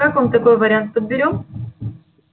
как вам такой вариант подберём